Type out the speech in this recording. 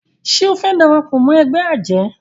ṣe o fè darapọ̀ mọ ègbé ajé?